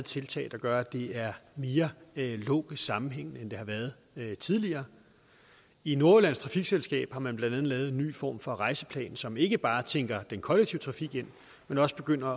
tiltag der gør at det er mere logisk sammenhængende end tidligere i nordjyllands trafikselskab har man blandt andet lavet en ny form for rejseplan som ikke bare tænker den kollektive trafik ind men også begynder